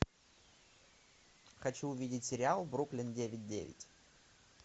хочу увидеть сериал бруклин девять девять